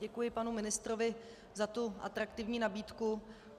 Děkuji panu ministrovi za tu atraktivní nabídku.